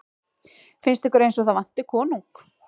Finnst ykkur eins og það vanti konung?